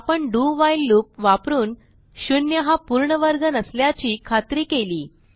आपण do while loop वापरून 0 हा पूर्ण वर्ग नसल्याची खात्री केली